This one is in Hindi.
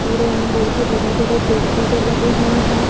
और यहां बहोत ही बड़े बड़े पेड़ पौधे लगे हुएं हैं।